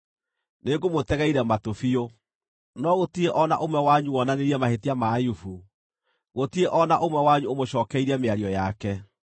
nĩngũmũtegeire matũ biũ. No gũtirĩ o na ũmwe wanyu wonanirie mahĩtia ma Ayubu; gũtirĩ o na ũmwe wanyu ũmũcookeirie mĩario yake.